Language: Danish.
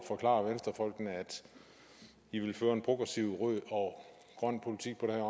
forklare venstrefolkene at i vil føre en progressiv rød og grøn politik på det